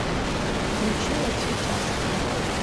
включи во все тяжкие